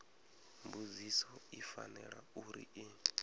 mbudziso i fanela uri i